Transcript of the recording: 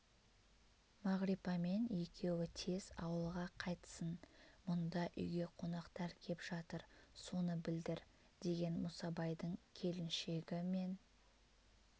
мағрипамен екеуі тез ауылға қайтсын мұнда үйге қонақтар кеп жатыр соны білдір деген мұсабайдың келіншегі мен